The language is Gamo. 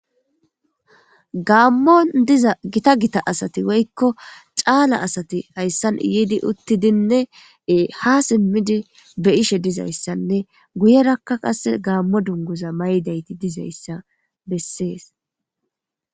gaammon diza gita gita asati woykko caala asati hayssan yiidi uttidinne ha simmidi be'ishe dizayssanne guyerakka qase gaammo dunguza maydayti dizayssa bessees